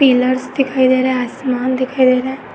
Pillars दिखाई दे रहे हैं। आसमान दिखाई दे रहा है।